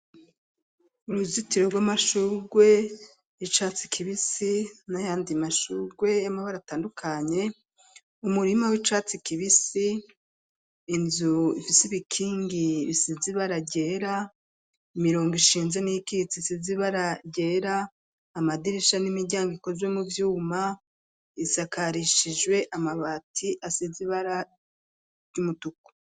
Uruzitiro rw'amashurwe y'icatsi kibisi n'ayandi mashurwe y'amabara atandukanye umurima w'icatsi kibisi inzu ifise ibikingi bisize ibara ryera imirongo isize ibara ryera amadirisha n'imiryango ikozwe mu vyuma isakarishijwe amabati asize ibara ry'umutuku.